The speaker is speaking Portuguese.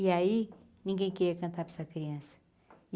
E aí ninguém queria cantar para essa criança.